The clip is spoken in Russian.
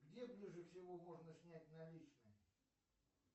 где ближе всего можно снять наличные